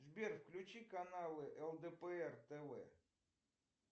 сбер включи каналы лдпр тв